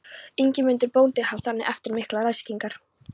Ingimundur bóndi hóf þannig eftir miklar ræskingar